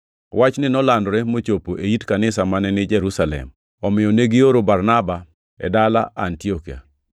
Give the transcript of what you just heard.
Wachni nolandore mochopo e it kanisa mane ni Jerusalem, omiyo negioro Barnaba e dala Antiokia.